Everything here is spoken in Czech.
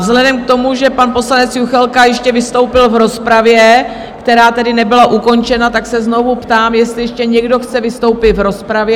Vzhledem k tomu, že pan poslanec Juchelka ještě vystoupil v rozpravě, která tedy nebyla ukončena, tak se znovu ptám, jestli ještě někdo chce vystoupit v rozpravě?